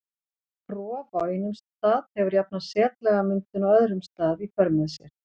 Rof á einum stað hefur jafnan setlagamyndun á öðrum stað í för með sér.